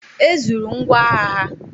E zuru ngwọagha ha.